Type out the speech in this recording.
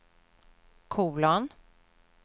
kolon